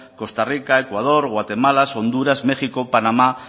costa rica ecuador guatemala honduras méxico panamá